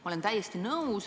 Ma olen täiesti nõus.